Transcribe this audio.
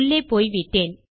உள்ளே போய்விட்டேன்